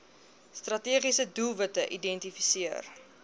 strategiese doelwitte geïdentifiseer